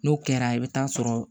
N'o kɛra i bɛ taa sɔrɔ